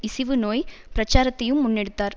இசிவு நோய் பிரச்சாரத்தையும் முன்னெடுத்தார்